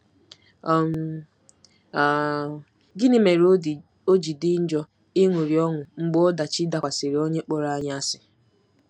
um um Gịnị mere o ji dị njọ ịṅụrị ọṅụ mgbe ọdachi dakwasịrị onye kpọrọ anyị asị?